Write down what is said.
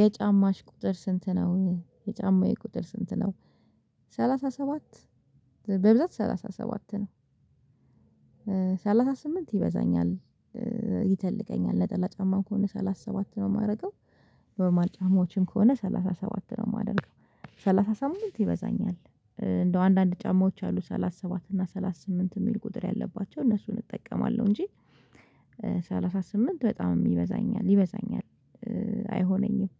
የጫማሽ ቁጥር ስንት ነው የጫማዬ ቁጥር ስንት ነው? ሰላሳ ሰባት በብዛት ሰላሳ ሰባት ነው። ሰላሳ ስምንት ይበዛኛል። ይተልቀኛል ነጠላ ጫማም ከሆነ ሰላሳ ሰባት ነው የማደርገው። ኖርማል ጫማዎችም ከሆነ ሰላሳ ሰባት ነው የማደርገው። ሰላሳ ስምንት ይበዛኛል እንደው አንዳንድ ጫማዎች አሉ ሰላሳ ሰባት እና ሰላሳ ስምንት የሚል ቁጥር ያለባቸው እነሱን እጠቀማለሁ እንጂ። ሰላሳ ስምንት በጣም ይበዛኛል ይበዛኛል አይሆነኝም።